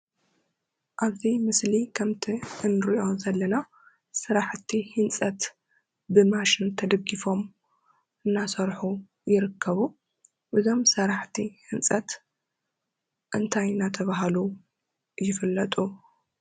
ኣብዚ ምስሊ ከምቲ ንሪኦ ዘለና ስረሕቲ ህንፀት ብማሽን ተደጊፎም እናሰሑ ይርከቡ። እዞም ስራሕቲ ህንፀት እንታይ እናተብሃሉ ይፍለጡ ?